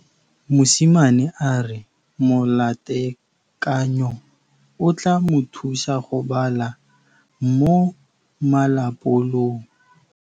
Mosimane a re molatekanyô o tla mo thusa go bala mo molapalong.